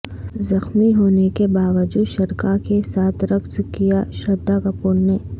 زخمی ہونے کے باوجود شرکاء کے ساتھ رقص کیا شردھا کپور نے